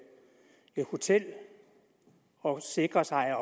hotel og sikre sig at